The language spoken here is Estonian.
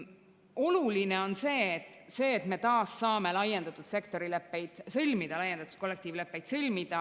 Oluline on see, et me taas saame laiendatud sektori leppeid sõlmida, laiendatud kollektiivleppeid sõlmida.